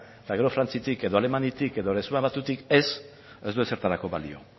eta frantziatik edo alemaniatik edo erresuma batutik ez ez du ezertarako balio